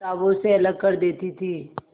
किताबों से अलग कर देती थी